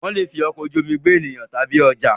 Wọ́n lè fi ọkọ̀ ojú omi gbé ènìyàn tàbí ọjà.